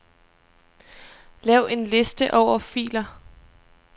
Lav en liste over filer.